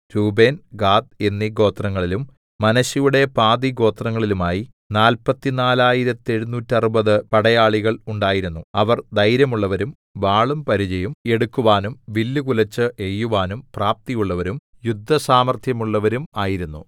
രൂബേൻ ഗാദ് എന്നീ ഗോത്രങ്ങളിലും മനശ്ശെയുടെ പാതി ഗോത്രത്തിലുമായി നാല്പത്തി നാലായിരത്തെഴുനൂറ്ററുപത് പടയാളികൾ ഉണ്ടായിരുന്നു അവർ ധൈര്യമുള്ളവരും വാളും പരിചയും എടുക്കുവാനും വില്ലുകുലെച്ച് എയ്യുവാനും പ്രാപ്തിയുള്ളവരും യുദ്ധസാമർത്ഥ്യമുള്ളവരും ആയിരുന്നു